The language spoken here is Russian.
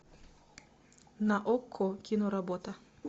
на окко киноработа